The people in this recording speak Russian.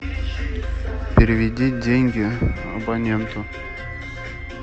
переведи деньги абоненту